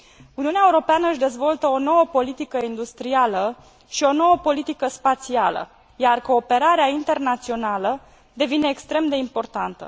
Uniunea Europeană își dezvoltă o nouă politică industrială și o nouă politică spațială, iar cooperarea internațională devine extrem de importantă.